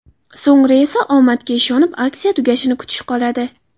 So‘ngra esa omadga ishonib, aksiya tugashini kutish qoladi.